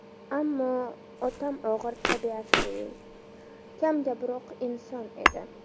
Ammo otam og‘ir tabiatli, kamgaproq inson edi.